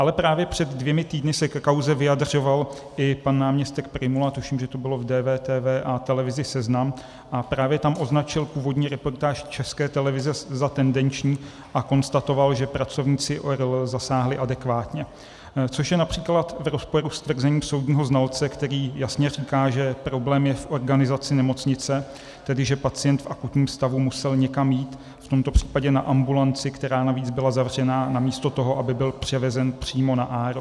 Ale právě před dvěma týdny se ke kauze vyjadřoval i pan náměstek Prymula, tuším, že to bylo v DVTV a Televizi Seznam, a právě tam označil původní reportáž České televize za tendenční a konstatoval, že pracovníci ORL zasáhli adekvátně, což je například v rozporu s tvrzením soudního znalce, který jasně říká, že problém je v organizaci nemocnice, tedy že pacient v akutním stavu musel někam jít, v tomto případě na ambulanci, která navíc byla zavřená, namísto toho, aby byl převezen přímo na ARO.